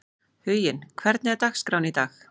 Huginn, hvernig er dagskráin í dag?